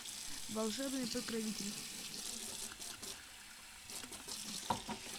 волшебный покровитель